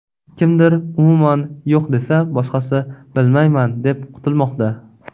Kimdir umuman yo‘q desa, boshqasi bilmayman deb qutilmoqda.